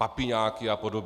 Papiňáky a podobně.